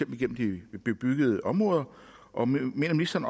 gennem de bebyggede områder og mener ministeren